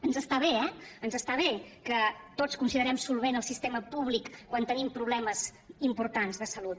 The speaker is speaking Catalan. ens està bé eh ens està bé que tots considerem solvent el sistema públic quan tenim problemes importants de salut